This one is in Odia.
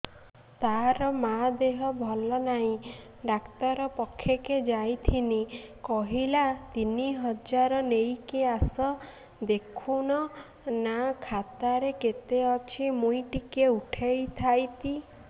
ତାର ମାର ଦେହେ ଭଲ ନାଇଁ ଡାକ୍ତର ପଖକେ ଯାଈଥିନି କହିଲା ତିନ ହଜାର ନେଇକି ଆସ ଦେଖୁନ ନା ଖାତାରେ କେତେ ଅଛି ମୁଇଁ ଟିକେ ଉଠେଇ ଥାଇତି